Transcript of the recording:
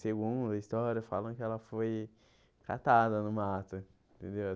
Segundo a história, falam que ela foi catada no mato, entendeu?